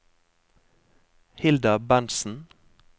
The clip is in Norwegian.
Hilda Berntsen